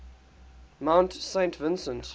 mount saint vincent